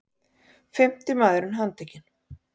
Fimmti maðurinn handtekinn